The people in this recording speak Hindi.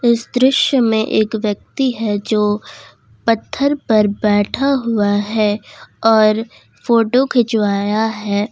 इस दृश्य में एक व्यक्ति है जो पत्थर पर बैठा हुआ है और फोटो खिंचवाया है।